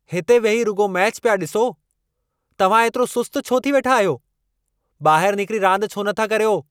हिते वेही रुॻो मैच पिया ॾिसो। तव्हां एतिरो सुस्त छो थी वेठा आहियो? ॿाहिरु निकिरी रांदि छो नथा करियो?